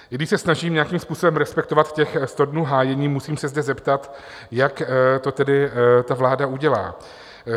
I když se snažím nějakým způsobem respektovat těch sto dnů hájení, musím se zde zeptat, jak to tedy ta vláda udělá.